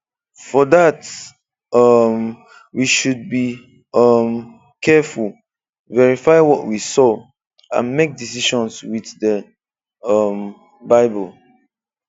For that, um we should be um careful, verify what we saw, and make decisions with the um Bible.